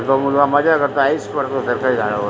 तो मुलगा मजा करतो आयश करतो त्या त्या झाडावर --